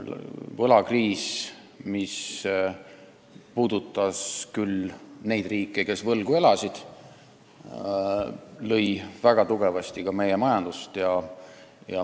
Võlakriis, mis puhkes küll nendes riikides, kes võlgu elasid, lõi väga tugevasti ka meie majandust.